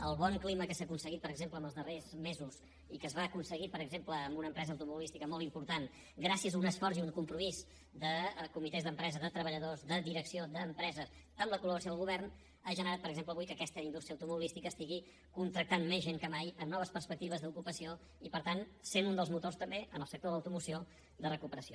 el bon clima que s’ha aconseguit per exemple en els darrers mesos i que es va aconseguir per exemple en una empresa automobilística molt important gràcies a un esforç i un compromís de comitès d’empresa de treballadors de direcció d’empresa amb la coldel govern ha generat per exemple avui que aquesta indústria automobilística contracti més gent que mai amb noves perspectives d’ocupació i per tant sent un dels motors també en el sector de l’automoció de recuperació